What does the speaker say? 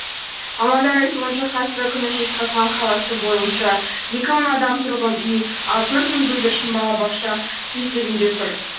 мамандардың айтуынша қазіргі күні жезқазған қаласы бойынша екі мың адам тұрғын үй ал төрт мың бүлдіршін балабақша кезегінде тұр